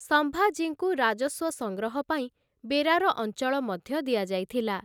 ସମ୍ଭାଜୀଙ୍କୁ ରାଜସ୍ୱ ସଂଗ୍ରହ ପାଇଁ ବେରାର ଅଞ୍ଚଳ ମଧ୍ୟ ଦିଆଯାଇଥିଲା ।